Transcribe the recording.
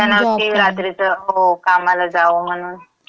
इच्छा नव्हती रात्रीचं. हो, कामाला जावं म्हणून.